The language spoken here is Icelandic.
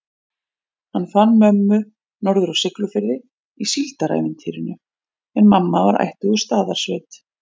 Hann fann mömmu norður á Siglufirði í síldarævintýrinu, en mamma var ættuð úr Staðarsveit.